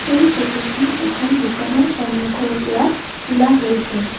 এই ফটো খন এখন দোকানৰ সন্মুখৰ পৰা তোলা হৈছে।